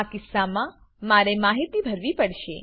આ કિસ્સામાં મારે માહિતી ભરવી પડશે